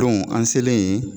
an selen yen